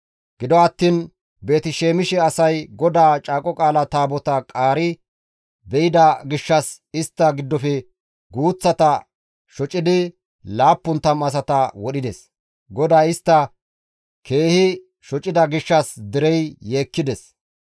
Gido attiin Beeti-Shemishe asay GODAA Caaqo Qaala Taabotaa qaari be7ida gishshas istta giddofe guuththata shocidi 70 asata wodhides; GODAY istta keehi shocida gishshas derey yeekkides.